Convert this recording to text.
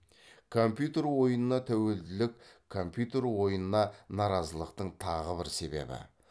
компьютер ойынына тәуелділік компьютер ойынына наразылықтың тағы бір себебі